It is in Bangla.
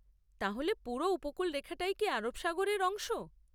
তাহলে পুরো উপকূলরেখাটাই কি আরব সাগরের অংশ?